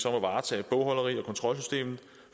om at varetage bogholderi og kontrolsystem